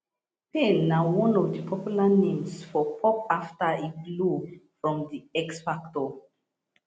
payne na one of di popular names for pop afta e blow from the x factor